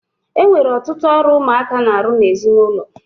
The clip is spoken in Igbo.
E nwere ọtụtụ ọrụ ụmụaka na-arụ n'ezinụlọ.